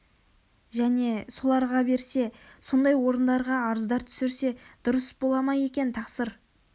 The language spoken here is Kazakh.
және соларға берсе сондай орындарға арыздар түсірсе дұрыс бола ма екен тақсыр